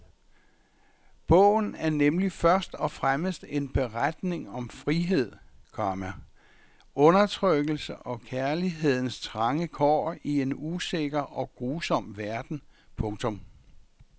Bogen er nemlig først og fremmest en beretning om frihed, komma undertrykkelse og om kærlighedens trange kår i en usikker og grusom verden. punktum